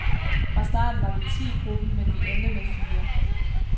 Fra starten var vi ti i gruppen, men vi endte med fire.